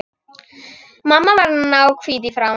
Mamma varð náhvít í framan.